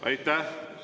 Aitäh!